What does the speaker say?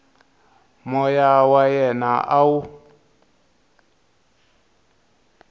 moya wa yena a wu